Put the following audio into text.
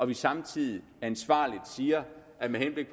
vi samtidig ansvarligt siger at med henblik